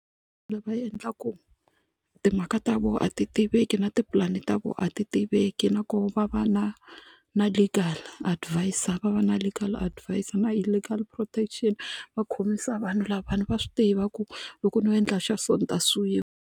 va endla ku timhaka ta voho a ti tiveki na tipulani ta voho a ti tiveki nakoho va va na na legal adviser va va na legal adviser na i legal protection va khomisa vanhu lavawani va swi tiva ku loko no endla xa so ni ta suwiwa.